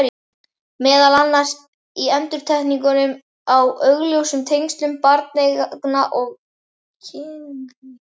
Meðal annars í endurtekningum á augljósum tengslum barneigna og kynlífs.